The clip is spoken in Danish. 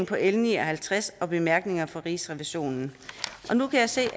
på l ni og halvtreds og bemærkningerne fra rigsrevisionen nu kan jeg se